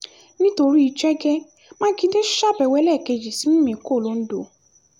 nítorí jẹ́gẹ́ mákindè ṣàbẹ̀wò ẹlẹ́ẹ̀kejì sí mímíkọ́ londo